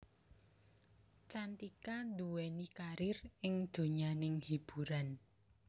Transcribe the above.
Cantika nduweni karir ing donyaning hiburan